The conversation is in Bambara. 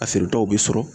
A bɛ sɔrɔ